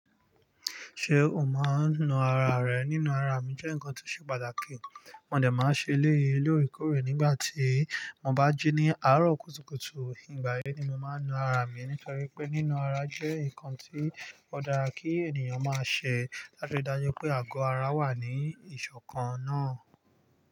Ṣé o máa ń nu ara rẹ? Nínú ara mi jẹ́ nǹkan tí ó ṣe pàtàkì, mo dẹ̀ máa ń ṣe eléyi lóorekóorè nígbà tí mo bá jí ní àárọ̀ kùtùkùtù. Ìgbà yẹn ni mo máa ń nu ara mi nítorí pé nínú ara jẹ́ nǹkan tí ó dára kí ènìyàn máa ṣẹ̀ láti ri daju pé àgọ́ ara wà ní ìṣọ̀kan náà.